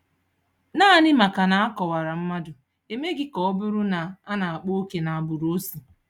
Naanị maka na a kọwara mmadụ, emeghị ka ọ bụrụ na a na-akpa oke agbụrụ o si